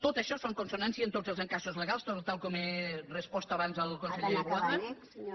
tot això es fa en consonància amb tots els encaixos legals tal com he respost abans al conseller boada